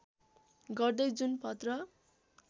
गर्दै जुन पत्र